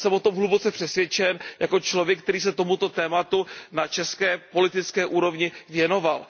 Jsem o tom hluboce přesvědčen jako člověk, který se tomuto tématu na české politické úrovni věnoval.